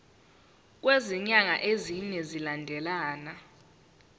kwezinyanga ezine zilandelana